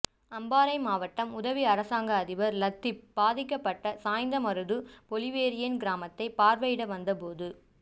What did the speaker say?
அம்பாறை மாவட்ட உதவி அரசாங்க அதிபர் லத்திப் பாதிக்கபட்ட சாய்ந்தமருது பொலிவேரியன் கிராமத்தை பார்வை இட வந்தபோது